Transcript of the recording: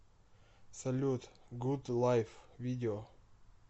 салют гуд лайф видео